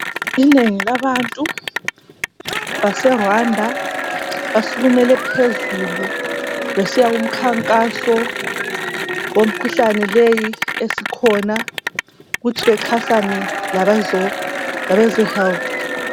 Inengi labantu base Rwanda basukumele phezulu besiya ku mkhankaso womkhuhlane leyi esikhona ukuthi baxhasane labeze health